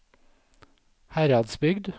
Heradsbygd